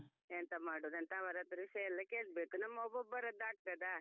ಎಂತ ಮಾಡುದಂತ ಅವರತ್ರ ವಿಷಯೆಲ್ಲ ಕೇಳ್ಬೇಕು ನಮ್ಮೊಬ್ಬೊಬ್ಬರದ್ದು ಆಗ್ತದಾ?